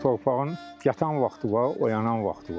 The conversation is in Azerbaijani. Torpağın yatan vaxtı var, oyanan vaxtı var.